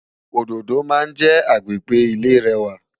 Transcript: Ódódó má njè ágbégbé ilé rèwá